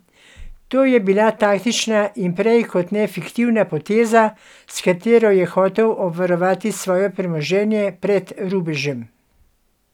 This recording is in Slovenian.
To je bila taktična in prej kot ne fiktivna poteza, s katero je hotel obvarovati svoje premoženje pred rubežem.